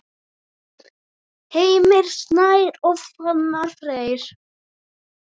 Heimir Snær og Fannar Freyr.